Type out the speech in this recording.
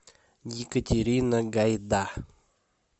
екатерина гайда